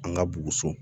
An ka buguso